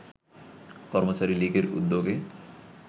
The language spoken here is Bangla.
কর্মচারী লীগের উদ্যোগে